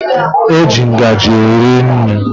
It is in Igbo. E ji ngaji eri nri.